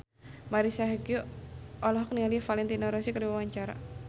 Marisa Haque olohok ningali Valentino Rossi keur diwawancara